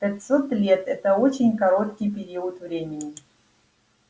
пятьсот лет это очень короткий период времени